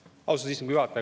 Austatud istungi juhataja!